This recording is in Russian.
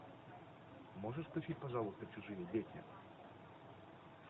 можешь включить пожалуйста чужие дети